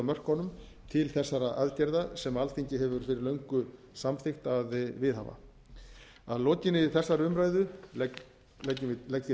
mörkunum til þessara aðgerða sem alþingi hefur fyrir löngu samþykkt að viðhafa að lokinni þessari umræðu legg ég